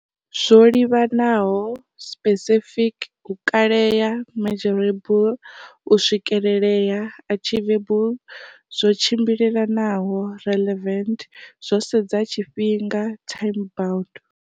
Zwo livhanaho, specific, u kalea, measurable, u swikelelea, achievable, zwi tshimbilelanaho, relevant, zwo sedza tshifhinga, time bound.